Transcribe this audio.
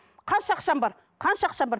қанша ақшаң бар қанша ақшаң бар